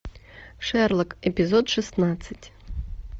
шерлок эпизод шестнадцать